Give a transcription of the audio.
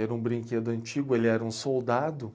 Era um brinquedo antigo, ele era um soldado,